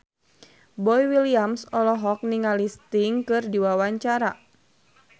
Boy William olohok ningali Sting keur diwawancara